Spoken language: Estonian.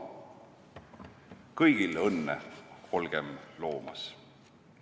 Kõigile õnne olgem loomas.